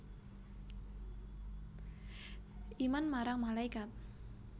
Iman marang malaikat